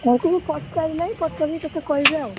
ତାଙ୍କୁ ମୁଁ ପଚାରି ନାଇଁ ପଚାରିକି ତତେ କହିବି ଆଉ।